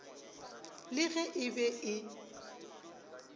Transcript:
le ge e be e